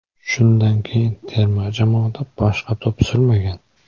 Shundan keyin terma jamoada boshqa to‘p surmagan.